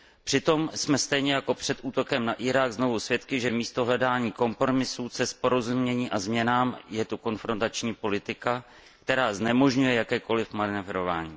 Přitom jsme stejně jako před útokem na Irák znovu svědky, že místo hledání kompromisů, cest k porozumění a změnám je tu konfrontační politika, která znemožňuje jakékoliv manévrování.